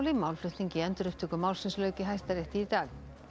málflutningi í endurupptöku málsins lauk í Hæstarétti í dag